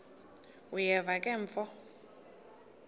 uyeva ke mfo